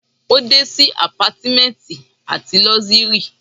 o de si apartments ati luxury